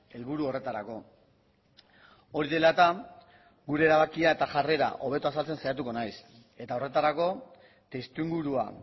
helburu horretarako hori dela eta gure erabakia eta jarrera hobeto azaltzen saiatuko naiz eta horretarako testuingurua